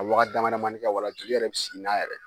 Ka waga dama damanin kɛ wala joli yɛrɛ bɛ sigi n'a yɛrɛ ye.